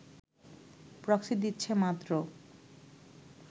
proxy দিচ্ছে মাত্র